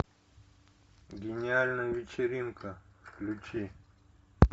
гениальная вечеринка включи